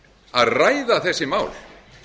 að ræða þessi mál